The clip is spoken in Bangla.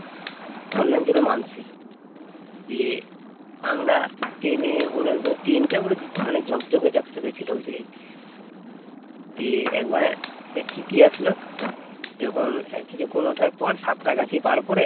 এক টিটি আসলো যখন আর কিছুক্ষণ ওঠার পর সাঁতরাগাছি পার করে